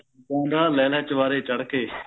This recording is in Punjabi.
ਗਾਉਂਦਾ ਲੈਲਾ ਚੁਬਾਰੇ ਚੜ ਕੇ